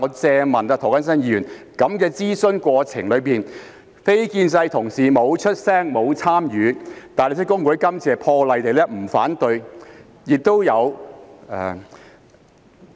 請涂謹申議員注意，在諮詢過程中，非建制派議員沒有發聲，沒有參與，而大律師公會這次亦破例不反對。